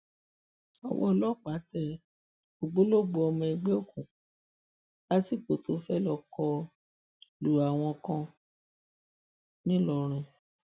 ọwọ ọlọpàá tẹ ògbólógbòó ọmọ ẹgbẹ òkùnkùn lásìkò tó fẹẹ lọ kọ lu àwọn kan ńìlọrin